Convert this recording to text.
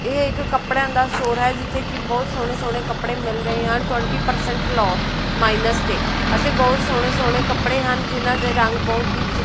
ਏਹ ਇੱਕ ਕੱਪੜੇਆਂ ਦਾ ਸਟੋਰ ਹੈ ਜਿੱਥੇ ਕੀ ਬੋਹੁਤ ਸੋਹਣੇ ਸੋਹਣੇ ਕੱਪੜੇ ਮਿਲ ਰਹੇ ਹਨ ਟਵੇਂਟੀ ਪਰਸੈਂਟ ਲੋਅ ਮਾਈਨਸ ਤੇ ਅਤੇ ਬੋਹੁਤ ਸੋਹਣੇ ਸੋਹਣੇ ਕੱਪੜੇ ਹਨ ਜਿਹਨਾਂ ਦੇ ਰੰਗ ਬਹੁਤ ਹੀ ਚਿ--